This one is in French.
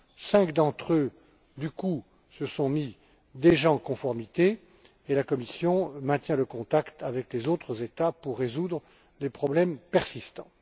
Cinq d'entre eux, du coup, se sont déjà mis en conformité, et la Commission maintient le contact avec les autres États pour résoudre les problèmes persistants.